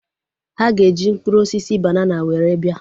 Ha ga-eji mkpụrụ osisi banana were bịa